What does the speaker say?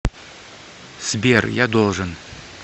сбер я должен